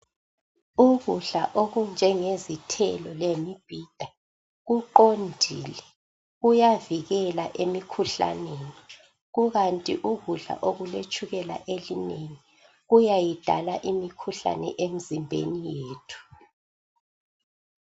Ukudla okunjenge zithelo lemibhida kuqondile kuyavikela emikhuhlaneni kukant ukudla okuletshukela elinengi kuyayidala imikhuhlane emzimbeni yethu